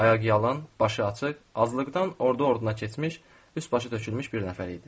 Ayaqyalın, başıaçıq, azlıqdan ordu-orduna keçmiş, üst-başı tökülmüş bir nəfər idi.